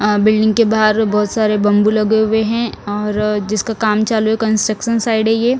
अ building के बहार बहोत सारे बंबू लगे हुए हैं और जिसका काम चालू हैं कन्ट्रकशन साईट हैं ये--